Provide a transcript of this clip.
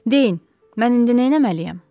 Deyin, mən indi nəməliyəm?